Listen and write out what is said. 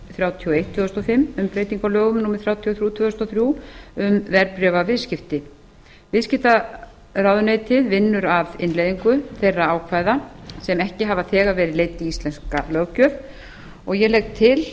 þrjátíu og eitt tvö þúsund og fimm um breyting á lögum númer þrjátíu og þrjú tvö þúsund og þrjú um verðbréfaviðskipti viðskiptaráðuneytið vinnur að innleiðingu þeirra ákvæða sem ekki hafa þegar verið leidd í íslenska löggjöf ég legg til